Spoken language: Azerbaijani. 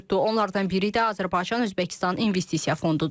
Onlardan biri də Azərbaycan-Özbəkistan investisiya fonduudur.